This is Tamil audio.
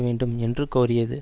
வேண்டும் என்று கோரியது